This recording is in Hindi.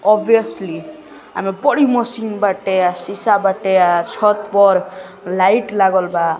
ओबिओसली एमे बड़ी मशीन बाटे आ शीशा बाटे आ छत पर लाइट लागल बा--